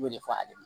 I b'o de fɔ ale ɲɛna